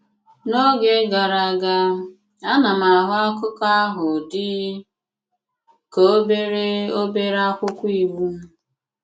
N’ógè gàrà aga, a na m ahụ̀ akụkọ̀ ahụ̀ dị kà obere obere akwụkwọ íwú.